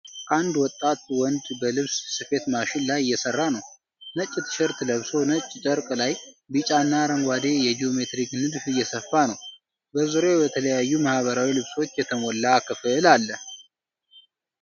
አንድ ወጣት ወንድ በልብስ ስፌት ማሽን ላይ እየሰራ ነው። ነጭ ቲሸርት ለብሶ ነጭ ጨርቅ ላይ ቢጫና አረንጓዴ የጂኦሜትሪክ ንድፍ እየሰፋ ነው። በዙሪያው በተለያዩ ባህላዊ ልብሶች የተሞላ ክፍል አለ።